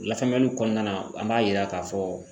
Lafaamuyali kɔɔna na an b'a yira k'a fɔ